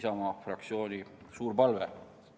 See on Isamaa fraktsiooni suur palve.